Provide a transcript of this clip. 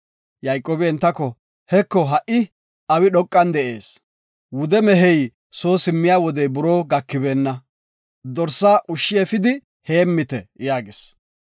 Yayqoobi entako, “Heko, ha7i awi dhoqan de7ees. Wude mehey soo simmiya wodey buroo gakibeenna, dorsa ushshi efidi heemmite” yaagis.